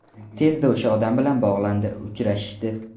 Tezda o‘sha odam bilan bog‘landi, uchrashishdi.